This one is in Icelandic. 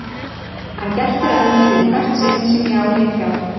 Hann geltir að mér í hvert sinn sem ég á leið hjá.